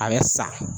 A bɛ sa